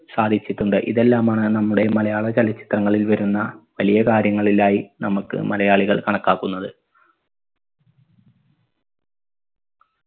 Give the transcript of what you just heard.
സാധിച്ചിട്ടുണ്ട് ഇതെല്ലാമാണ് നമ്മുടെ മലയാള ചലച്ചിത്രങ്ങളിൽ വരുന്ന വലിയ കാര്യങ്ങളിലായി നമക്ക് മലയാളികൾ കണക്കാക്കുന്നത്